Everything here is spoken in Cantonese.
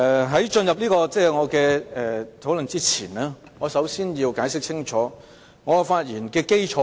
在進入討論前，我想先清楚解釋我的發言基礎。